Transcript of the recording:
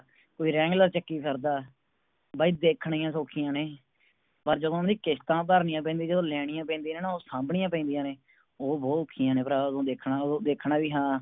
ਕੋਈ ਚੱਕੀ ਫਿਰਦਾ ਬਈ ਦੇਖਣੀਆਂ ਸੋਖੀਆਂ ਨੇ ਪਰ ਜਦੋ ਓਹਨਾ ਦੀ ਕਿਸਤਾਂ ਭਰਨੀਆਂ ਪੈਂਦੀਆਂ ਜਦੋ ਲੈਣੀਆਂ ਪੈਂਦੀਆਂ ਨੇ ਉਹ ਸੰਭਣੀਆਂ ਪੈਂਦੀਆਂ ਨੇ ਉਹ ਬੋਹੋਤ ਔਖੀਆ ਨੇ ਭਰਾ ਓਦੋ ਦੇਖਣਾ ਓਦੋ ਦੇਖਣਾ ਵੀ ਹਾਂ